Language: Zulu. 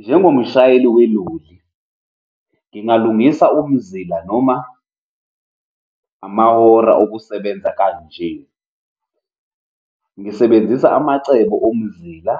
Njengomshayeli weloli, ngingalungisa umzila noma amahora okusebenza kanje, ngisebenzisa amacebo omzila,